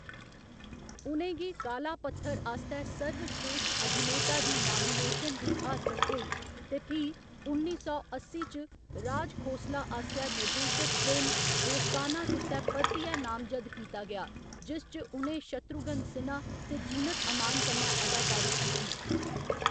उ'नें गी काला पत्थर आस्तै सर्वस्रेश्ठ अभिनेता दी नामिनेशन बी हासल होई ते फ्ही उन्नी सौ अस्सी च राज खोसला आसेआ निर्देशत फिल्म दोस्ताना गित्तै परतियै नामजद्द कीता गेआ, जिस च उ'नें शत्रुघ्न सिन्हा ते जीनत अमान कन्नै अदाकारी कीती।